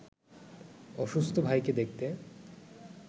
অসুস্থ ভাইকে দেখতে